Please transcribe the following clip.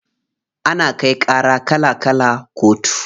Ana kai ƙara kala kala kotu.